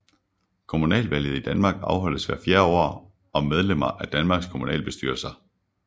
Kommunalvalget i Danmark afholdes hvert fjerde år om medlemmer af Danmarks kommunalbestyrelser